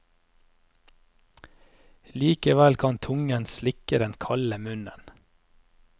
Likevel kan tungen slikke den kalde munnen.